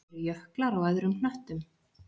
Eru jöklar á öðrum hnöttum?